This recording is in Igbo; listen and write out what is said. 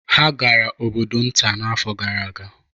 Ha gara obodo nta n'afọ gara aga